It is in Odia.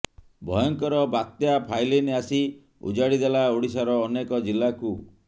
ଭୟଙ୍କର ବାତ୍ୟା ଫାଇଲିନ୍ ଆସି ଉଜାଡ଼ି ଦେଲା ଓଡ଼ିଶାର ଅନେକ ଜିଲ୍ଲାକୁ